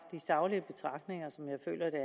saglige betragtninger som jeg føler